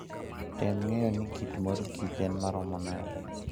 Tem ng'eyo ni kit mor kich en maromo nade.